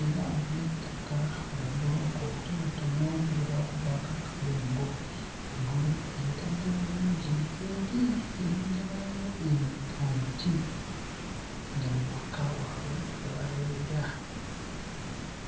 era n'ettaka, obubulooka obutonotono nga bwakubwako akadongo, eggulu lyetadde bulungi, eri erengerwayo emi omuti, nga we waka wabwe we babeera.